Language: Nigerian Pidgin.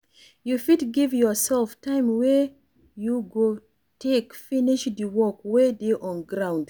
You fit give your self time wey you go take finish di work wey dey on ground